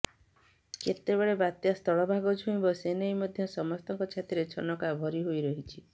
କେତେବେଳେ ବାତ୍ୟା ସ୍ଥଳଭାଗ ଛୁଇଁବ ସେନେଇ ମଧ୍ୟ ସମସ୍ତଙ୍କ ଛାତିରେ ଛନକା ଭରି ହୋଇରହିଛି